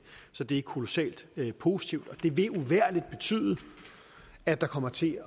så det er kolossalt positivt og det vil uvægerlig betyde at der kommer til